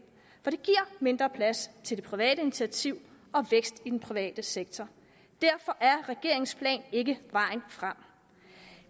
for det giver mindre plads til det private initiativ og vækst i den private sektor derfor er regeringens plan ikke vejen frem